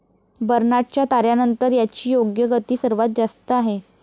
बर्नाडच्या ताऱ्यानंतर याची योग्य गती सर्वांत जास्त आहे.